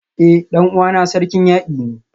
Eh dan uwana Sarkin Yaki ne